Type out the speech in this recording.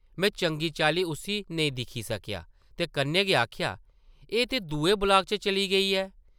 में चंगी चाल्ली उस्सी नेईं दिक्खी सकेआ ते कन्नै में आखेआ, ‘‘एह् ते दूए ब्लाक च चली गेई ऐ ।’’